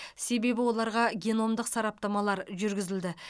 себебі оларға геномдық сараптамалар жүргізілді